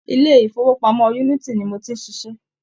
Ilé-ìfowópamọ́ Unity ni mo ti ń ṣiṣẹ́.